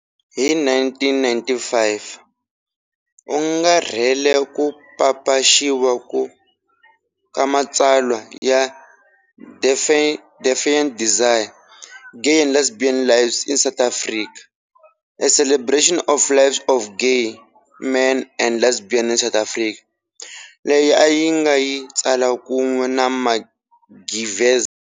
Hi 1995 u angarhele ku papaxiwa ka matsalwa ya "Defiant Desire-Gay and Lesbian Lives in South Africa","a celebration of the lives of gay men and lesbians in South Africa" leyi a yi nga yi tsala kun'we na Mark Gevisser.